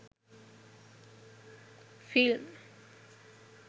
film